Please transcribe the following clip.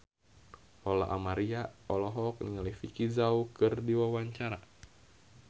Lola Amaria olohok ningali Vicki Zao keur diwawancara